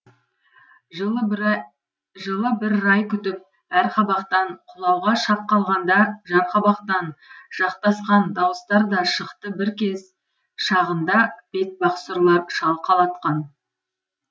жылы бір рай күтіп әр қабақтан құлауға шақ қалғанда жарқабақтан жақтасқан дауыстар да шықты бір кез шағында бетпақ сұрлар шалқалатқан